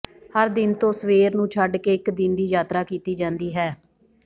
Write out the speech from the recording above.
ਹਰ ਦਿਨ ਤੋਂ ਸਵੇਰ ਨੂੰ ਛੱਡ ਕੇ ਇਕ ਦਿਨ ਦੀ ਯਾਤਰਾ ਕੀਤੀ ਜਾਂਦੀ ਹੈ